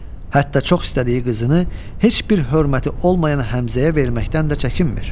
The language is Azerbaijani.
Hətta çox istədiyi qızını heç bir hörməti olmayan Həmzəyə verməkdən də çəkinmir.